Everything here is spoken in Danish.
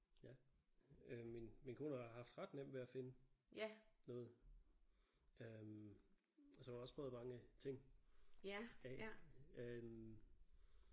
Ja øh min min kone har haft ret nemt ved at finde noget øh og så har hun også prøvet mange ting af øh